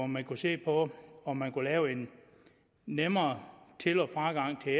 man kunne se på om man kunne lave en nemmere til og fragang til